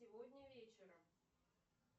сегодня вечером